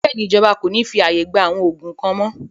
Bẹ́ẹ̀ni, Ìjọba kòní fi ààyè gbà àwọn òògùn kan mọ́